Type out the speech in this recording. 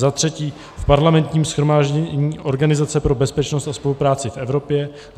za třetí v Parlamentním shromáždění Organizace pro bezpečnost a spolupráci v Evropě;